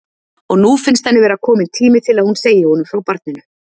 Og nú finnst henni vera kominn tími til að hún segi honum frá barninu.